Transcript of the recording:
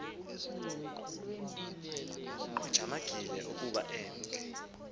ujamangile ukuba emke